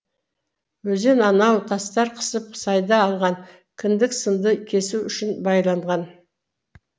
өзен анау тастар қысып сайда алған кіндік сынды кесу үшін байланған